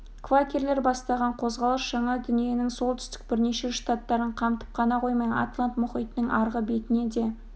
квакерлер бастаған қозғалыс жаңа дүниенің солтүстік бірнеше штаттарын қамтып қана қоймай атлант мұхитының арғы бетіне де